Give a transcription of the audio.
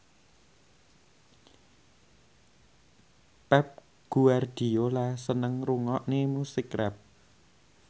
Pep Guardiola seneng ngrungokne musik rap